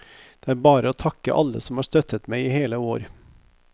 Det er bare å takke alle som har støttet meg i hele år.